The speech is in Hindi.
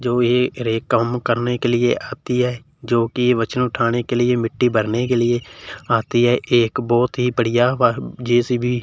जो ये हर एक काम करने के लिए आती है जोकि वजन उठाने के लिए मिट्टी भरने के लिए आती है एक बहोत ही बढ़िया और जे_सी_बी --